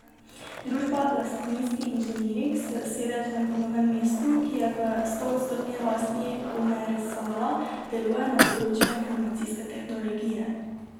Družba Lastinski inženiring s sedežem v Novem mestu, ki je v stoodstotni lasti Omerzela, deluje na področju informacijske tehnologije.